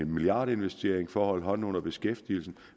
milliardinvestering for at holde hånden under beskæftigelsen